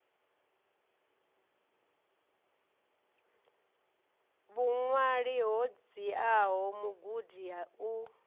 vhuṅwali ho dziaho mugudi u